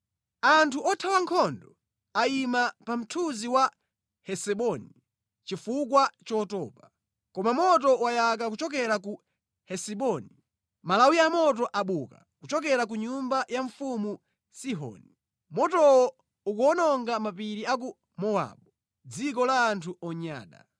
“Anthu othawa nkhondo ayima pa mthunzi wa Hesiboni chifukwa chotopa. Koma moto wayaka kuchokera ku Hesiboni, malawi a moto abuka kuchokera ku nyumba ya mfumu Sihoni. Motowo ukuwononga mapiri a ku Mowabu, dziko la anthu onyada.